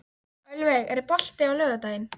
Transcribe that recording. Ölveig, er bolti á laugardaginn?